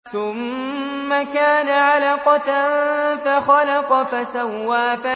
ثُمَّ كَانَ عَلَقَةً فَخَلَقَ فَسَوَّىٰ